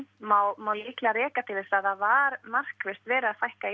má líklega rekja til þess að það var markvisst verið að fækka í